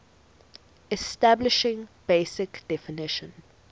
establishing basic definition